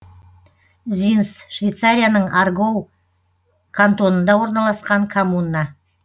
зинс швейцарияның аргоу кантонында орналасқан коммуна